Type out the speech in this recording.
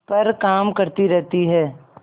पर काम करती रहती है